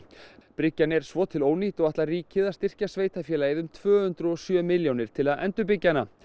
bryggjan er svo til ónýt og ætlar ríkið að styrkja sveitarfélagið um tvö hundruð og sjö milljónir til að endurbyggja hana